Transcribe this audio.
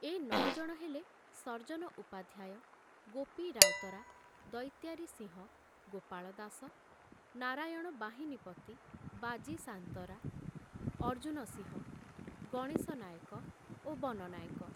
ଏ ନ ଜଣ ହେଲେ ସର୍ଜନ ଉପାଧ୍ୟାୟ, ଗୋପି ରାଉତରା, ଦୈତ୍ୟାରି ସିଂହ, ଗୋପାଳ ଦାସ, ନାରାୟଣ ବାହିନୀପତି, ବାଜି ସାନ୍ତରା, ଅର୍ଜୁନ ସିଂହ, ଗଣେଶ ନାଏକ ଓ ବନ ନାଏକ।